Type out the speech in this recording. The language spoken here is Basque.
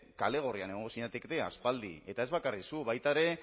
kale gorrian egongo zinatekete aspaldi eta ez bakarrik zu baita ere